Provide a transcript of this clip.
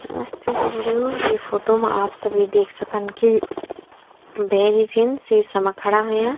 आस्थे बुल्दु इं फोटो मा आप सभी देख सकन की भैजी छिन सीसा मा खड़ा होयां।